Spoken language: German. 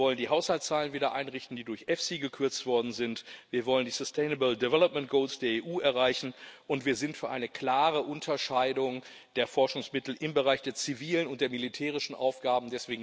Wir wollen die Haushaltszahlen wieder einrichten, die durch EFSI gekürzt worden sind, wir wollen die sustainable development goals der EU erreichen, und wir sind für eine klare Unterscheidung der Forschungsmittel im Bereich der zivilen und der militärischen Aufgaben.